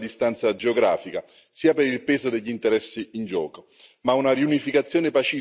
La situazione non è semplice, sia per la distanza geografica, sia per il peso degli interessi in gioco.